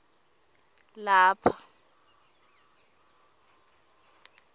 lapha